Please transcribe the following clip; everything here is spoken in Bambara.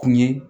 Kun ye